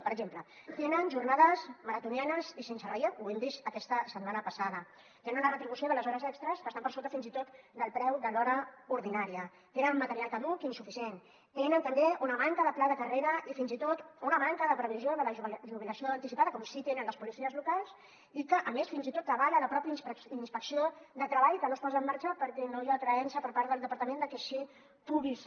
per exemple tenen jornades maratonianes i sense relleu ho hem vist aquesta setmana passada tenen una retribució de les hores extres que està per sota fins i tot del preu de l’hora ordinària tenen un material caduc i insuficient tenen també una manca de pla de carrera i fins i tot una manca de previsió de la jubilació anticipada com sí que tenen les policies locals i que a més fins i tot avala la mateixa inspecció de treball que no es posa en marxa perquè no hi ha creença per part del departament que així pugui ser